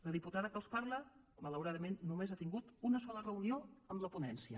la diputada que els parla malauradament només ha tingut una sola reunió amb la ponència